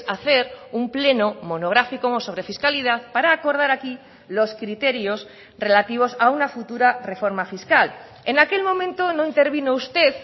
hacer un pleno monográfico sobre fiscalidad para acordar aquí los criterios relativos a una futura reforma fiscal en aquel momento no intervino usted